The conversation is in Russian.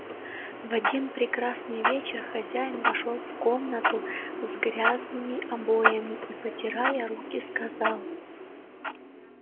в один прекрасный вечер хозяин вошёл в комнатку с грязными обоями и потирая руки сказал